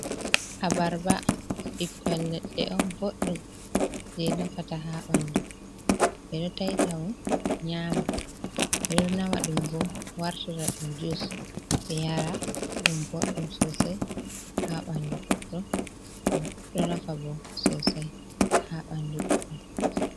Abarba bikkon leɗɗe on, boɗɗum je nafata ha bandu ɓe ɗo taita ɗum nyama, ɓeɗo nama ɗum ɓo wartira ɗum jus ɓe yara, ɗum boɗɗum sosai ha ɓandu goɗɗo ɗum ɗo nafa ɓo sosai ha ɓandu goɗɗo.